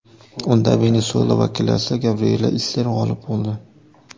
Unda Venesuela vakilasi Gabriela Isler g‘olib bo‘ldi.